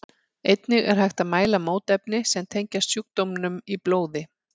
Einnig er hægt að mæla mótefni sem tengjast sjúkdómnum í blóði.